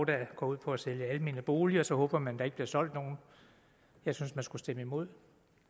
der går ud på at sælge almene boliger og så håber man at der ikke bliver solgt nogen jeg synes man skulle stemme imod